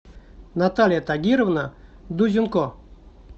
наталья тагировна дузенко